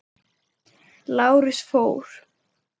Lárus fór.